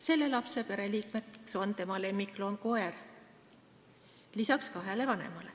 Selle lapse pereliikmeks lisaks kahele vanemale on tema lemmikloom koer.